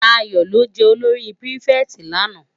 Dayo lò fi jè ólóri pirifèti làná